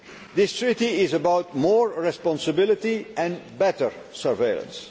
This treaty is about more responsibility and better surveillance.